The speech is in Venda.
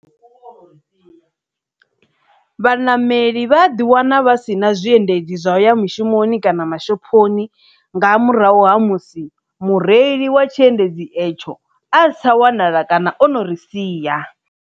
Vhaṋameli vha a ḓi wana vha sina zwiendedzi zwa u ya mishumoni kana mashophoni nga murahu ha musi mureili wa tshiendedzi etsho a sa tsha wanala kana o no ri sia.